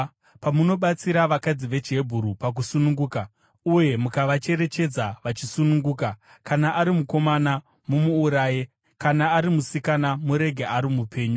“Pamunobatsira vakadzi vechiHebheru pakusununguka uye mukavacherechedza vachisununguka, kana ari mukomana, mumuuraye; kana ari musikana murege ari mupenyu.”